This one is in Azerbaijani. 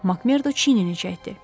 Makmerda çeynini çəkdi.